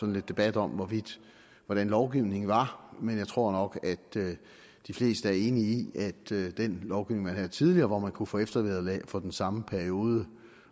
lidt debat om hvordan lovgivningen var men jeg tror nok at de fleste er enige i at den lovgivning man havde tidligere og man kunne få eftervederlag for den samme periode